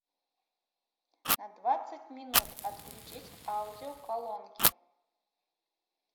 на двадцать минут отключить аудио колонки